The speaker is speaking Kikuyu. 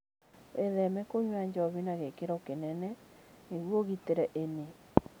Wĩtheme kũnyua njohi na gĩkĩro kĩnene nĩguo ũgitĩre ini.